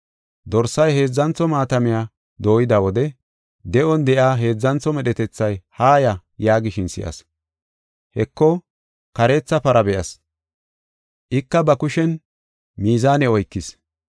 Dorsay heedzantho maatamiya dooyida wode de7on de7iya heedzantho medhetethay, “Haaya!” yaagishin si7as. Heko kareetha para be7as; ika ba kushen mizaane oykis.